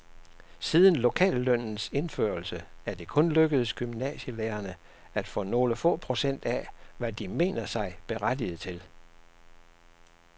Siden lokallønnens indførelse er det kun lykkedes gymnasielærerne at få nogle få procent af, hvad de mener sig berettiget til.